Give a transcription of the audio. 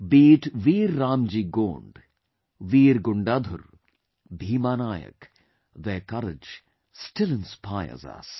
Be it Veer RamJi Gond, Veer Gundadhur, Bheema Nayak, their courage still inspires us